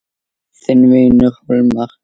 Þinn vinur Hólmar.